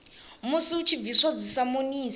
musi hu tshi bviswa dzisamonisi